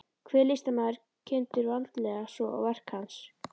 Hver listamaður kynntur vandlega, svo og verk hans.